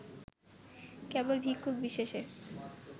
কেবল ভিক্ষুক বিশেষে